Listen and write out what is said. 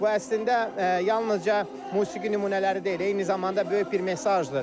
Bu əslində yalnızca musiqi nümunələri deyil, eyni zamanda böyük bir mesajdır.